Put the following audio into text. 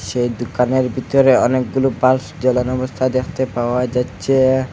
যে দোকানের ভিতরে অনেকগুলো বাল্ফ জ্বালানো অবস্থায় দেখতে পাওয়া যাচ্ছে।